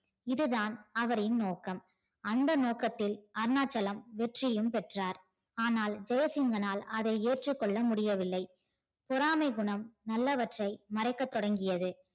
இதுதான் அவரின் நோக்கம் அந்த நோக்கத்தில் அருணாச்சலம் வெற்றியும் பெற்றார் ஆனால் ஜெசிங்கனால் அதை ஏற்றுகொள்ள முடிய வில்லை பொறாமை குணம் நல்லவற்றை மறைக்க தொடங்கியது